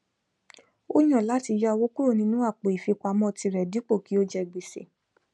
ó yàn láti yá owó kúrò nínú àpò ìfipamọtirẹ dípò kí ó je gbèsè